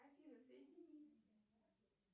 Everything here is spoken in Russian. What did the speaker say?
афина соедини